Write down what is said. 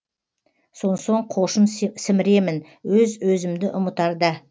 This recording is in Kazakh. сонсоң қошын сіміремін өз өзімді ұмытарда